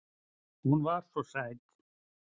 Hún var svo sæt.